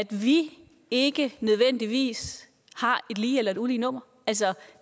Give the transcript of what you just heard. vi ikke nødvendigvis har et lige eller et ulige nummer altså